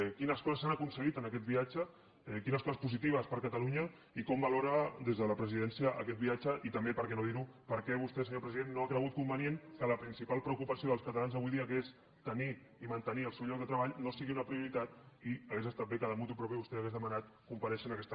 quines coses s’han aconseguit en aquest viatge quines coses positives per a catalunya i com valora des de la presidència aquest viatge i també per què no dir ho per què vostè senyor president no ha cregut convenient que la principal preocupació dels catalans avui dia que és tenir i mantenir el seu lloc de treball no sigui una prioritat i hauria estat bé que motu propio vostè hagués demanat comparèixer en aquesta cambra